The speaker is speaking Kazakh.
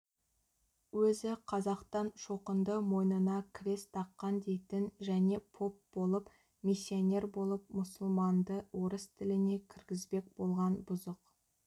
өзі қазақтан шоқынды мойнына крес таққан дейтін және поп болып миссионер болып мұсылманды орыс тіліне кіргізбек болған бұзық